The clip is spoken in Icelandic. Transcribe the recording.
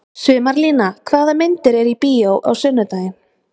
Sumarlína, hvaða myndir eru í bíó á sunnudaginn?